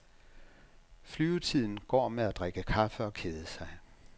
Flyvetiden går med at drikke kaffe og kede sig.